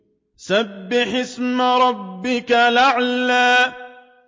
سَبِّحِ اسْمَ رَبِّكَ الْأَعْلَى